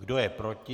Kdo je proti?